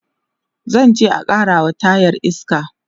zanje a karawa tayar iska